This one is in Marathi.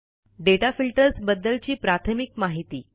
दाता फिल्टर्स बद्दलची प्राथमिक माहिती